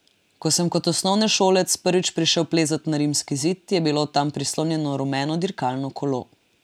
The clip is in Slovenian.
Ko sem kot osnovnošolec prvič prišel plezat na rimski zid, je bilo tam prislonjeno rumeno dirkalno kolo.